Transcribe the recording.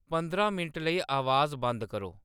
पंद्रां minute लेई अवाज बंद करो